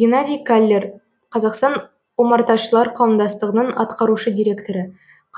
геннадий каллер қазақстан омарташылар қауымдастығының атқарушы директоры